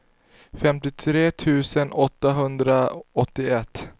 femtiotre tusen åttahundraåttioett